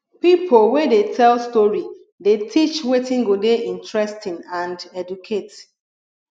pipo wey dey tell story dey teach wetin go dey interesting and educate